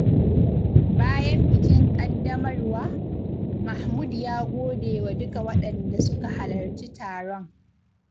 Bayan bikin ƙaddamar wa, Mahmud ya gode wa duka waɗanda suka halarci taron.